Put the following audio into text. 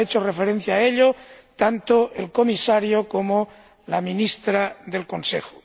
Han hecho referencia a ello tanto el Comisario como la ministra del Consejo.